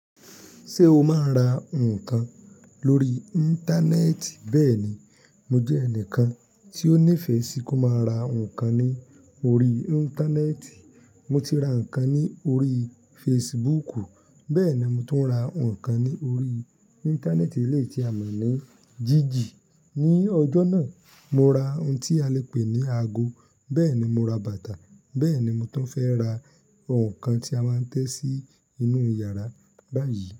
Ṣé o máa ń ra nǹkan lórí Íńtánẹ́ẹ̀tì? Bẹ́ẹ̀ ni, mo jẹ́ ẹnìkan tí ó nífẹ̀ẹ́ sí kó máa ra nǹkan ní orí Íńtánẹ́ẹ̀tì. Mo ti ra nǹkan ní orí Fesibuúkù, bẹ́ẹ̀ ni mo tuń ra nǹkan ní orí Íńtánẹ́ẹ̀tì eléyi tí a mọ̀ ní Jíjì. Ni ọjọ́ náà, mo ra ohun tí a lè pè ní ago, bẹ́ẹ̀ ni mo ra bàtà, bẹ́ẹ̀ ni mo tun fẹ́ ra ohun kan tí a máa ń tẹ́ sí inú yàrá báyìí.